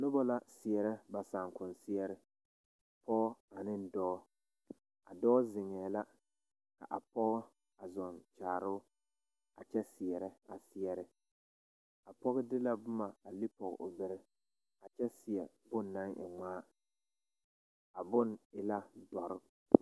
Noba la seɛrɛ ba saakonseɛre a dɔɔ zeŋɛɛ la ka a pɔɔ zɔɔkyaare o a kyɛ seɛrɛ a seɛre a pɔɡe de la boma a lepɔɡe o bere a kyɛ seɛ bone na e ŋmaa a bone e la dɔre.